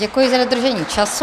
Děkuji za dodržení času.